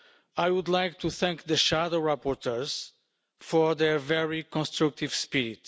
I would like to thank the shadow rapporteurs for their very constructive spirit.